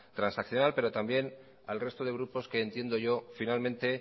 transaccional pero también al resto de grupos que entiendo yo finalmente